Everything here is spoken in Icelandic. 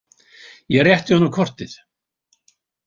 Ég rétti honum kortið.